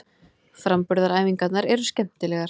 Framburðaræfingarnar eru skemmtilegar.